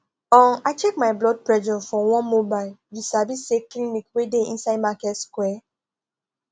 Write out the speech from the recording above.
um i check my blood pressure for one mobile you sabi say clinic wey dey inside market square